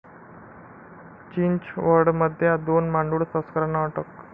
चिंचवडमध्ये दोन मांडूळ तस्करांना अटक